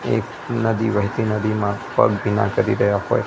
એક નદી વેહતી નદીમાં પગ ભીના કરી રહ્યા હોઈ.